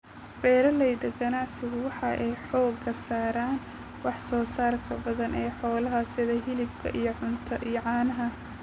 Beeralayda ganacsigu waxa ay xooga saaraan wax soo saarka badan ee xoolaha sida hilibka iyo caanaha.